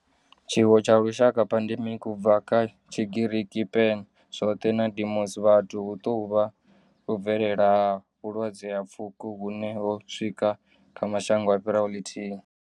Tshiwo tsha lushaka pandemic, u bva kha Tshigiriki pan, zwothe na demos, vhathu hu tou vha u bvelela ha vhulwadze ha pfuko hune ho swika kha mashango a fhiraho lithihi.